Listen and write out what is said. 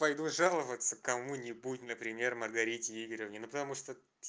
пойду жаловаться кому-нибудь ну например маргарите игоревне ну потому что